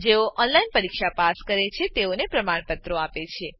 જેઓ ઓનલાઈન પરીક્ષા પાસ કરે છે તેઓને પ્રમાણપત્રો આપે છે